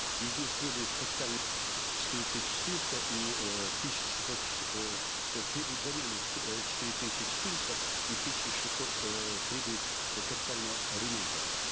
из них требуют четыре тысячи четыреста и э тысяча шестьсот э требуют замены э четыре тысячи четыреста и тысяча шестьсот э требуют э капитального ремонта